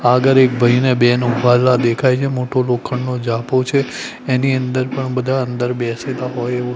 આગળ એક ભઈ ને બેન ઉભાલા દેખાય છે મોટું લોખંડનો જાપો છે એની અંદર પણ બધા અંદર બેસેલા હોય એવું--